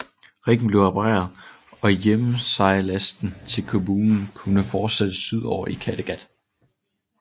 Riggen blev repareret og hjemsejladsen til København kunne fortsætte sydover i Kattegat